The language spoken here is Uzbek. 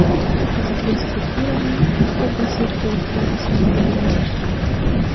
Uchta chiziqli strukturaning qubbasi to‘rtta ustunda joylashgan.